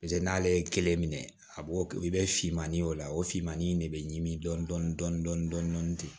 paseke n'ale ye kelen minɛ a b'o i bɛ finmani o la o finmani in de bɛ ɲimi dɔɔnin dɔɔnin dɔɔnin ten